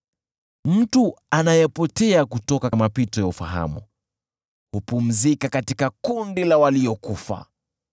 Mtu anayepotea kutoka mapito ya ufahamu, hupumzika katika kundi la waliokufa.